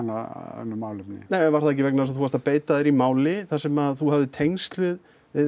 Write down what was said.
önnur málefni nei var það ekki vegna þess að þú varst að beita þér í máli þar sem þú hafðir tengsl við